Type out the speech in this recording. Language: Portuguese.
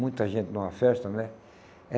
Muita gente numa festa, né? É